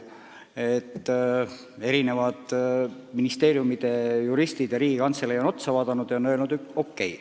Eri ministeeriumide juristid ja Riigikantselei on lahendusele otsa vaadanud ja öelnud: okei.